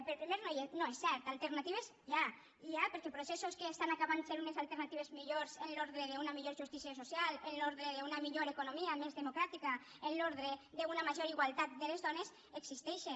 el primer no és cert alternatives n’hi ha n’hi ha perquè processos que estan acabant fent unes alternatives millors en l’ordre d’una millor justícia social en l’ordre d’una millor economia més democràtica en l’ordre d’una major igualtat de les dones existeixen